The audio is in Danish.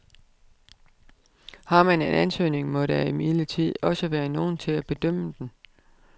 Har man en ansøgning, må der imidlertid også være nogle til at bedømme den.